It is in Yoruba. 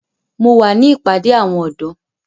Mo wà ní ìpàdé àwọn ọ̀dọ́.